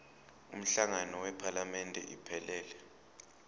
umhlangano wephalamende iphelele